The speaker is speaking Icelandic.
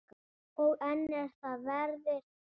Og enn er það veðrið.